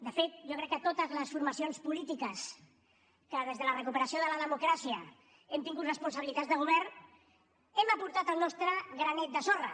de fet jo crec que totes les formacions polítiques que des de la recuperació de la democràcia hem tingut responsabilitats de govern hem aportat el nostre granet de sorra